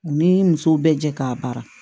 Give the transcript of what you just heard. U ni musow bɛ jɛ k'a baara